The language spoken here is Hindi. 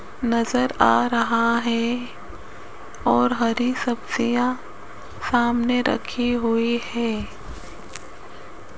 नजर आ रहा है और हरी सब्जियां सामने रखी हुई है।